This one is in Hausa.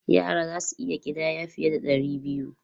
Yara za su iya ƙidaya fiye da ɗari biyu.